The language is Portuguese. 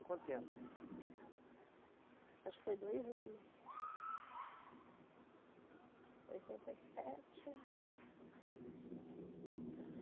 Quanto tempo? Acho que foi dois anos. Oitenta e sete, oitenta e